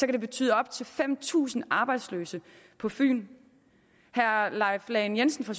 det betyde op til fem tusind arbejdsløse på fyn herre leif lahn jensen fra